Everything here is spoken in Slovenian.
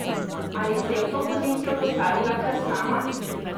Ali se je v to pozicijo postavila kar sama?